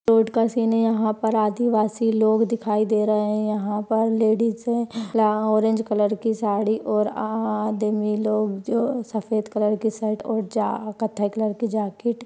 Road का scene है यहाँ पर आदिवासी लोग दिखाई दे रहे है यहाँ पर लेडिज है। यहा ऑरेंज कलर कि साड़ी और आ आदमी लोग जो सफ़ेद कलर के शर्ट और अ कथे कलर कि जाकीट --